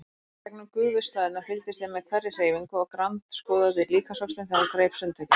Gegnum gufuslæðurnar fylgdist ég með hverri hreyfingu og grandskoðaði líkamsvöxtinn þegar hún greip sundtökin.